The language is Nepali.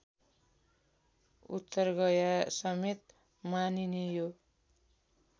उत्तरगयासमेत मानिने यो